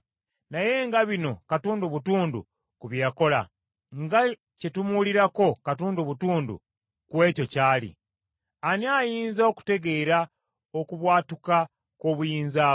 Naye nga bino katundu butundu ku bye yakola. Nga kye tumuwulirako katundu butundu ku ekyo ky’ali! Ani ayinza okutegeera okubwatuka kw’obuyinza bwe?”